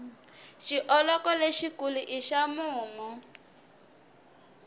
xioloko lexi kulu i xa mumu